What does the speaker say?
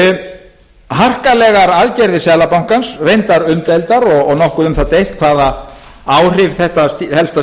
jafnvægi harkalegar aðgerðir seðlabankans reyndar umdeildar og nokkuð um það deilt hvaða áhrif þetta helsta